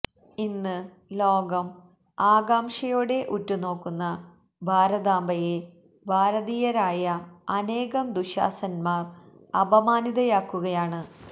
ഇന്ന് ലോകം ആകാംക്ഷയോടെ ഉറ്റുനോക്കുന്ന ഭാരതാംബയെ ഭാരതീയരായ അനേകം ദുശ്ശാസനന്മാര് അപമാനിതയാക്കുകയാണ്